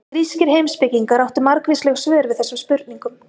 Grískir heimspekingar áttu margvísleg svör við þessum spurningum.